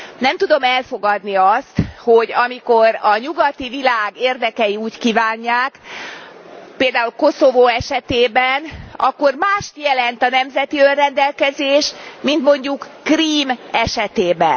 Nem tudom elfogadni azt, hogy amikor a nyugati világ érdekei úgy kívánják, például Koszovó esetében, akkor mást jelent a nemzeti önrendelkezés, mint mondjuk Krím esetében.